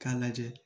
K'a lajɛ